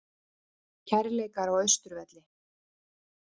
Kærleikar á Austurvelli